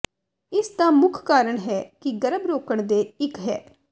ਇਸ ਦਾ ਮੁੱਖ ਕਾਰਨ ਹੈ ਕਿ ਗਰਭ ਰੋਕਣ ਦੇ ਇੱਕ ਹੈ